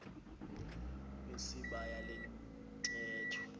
wesibaya le ntetho